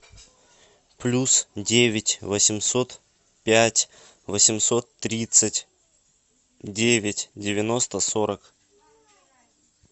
плюс девять восемьсот пять восемьсот тридцать девять девяносто сорок